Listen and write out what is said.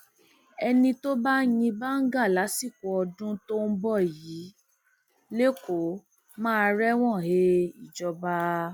ẹni tó bá yín báńgá lásìkò ọdún tó ń bọ yìí lẹkọọ máa rẹwọn he ìjọba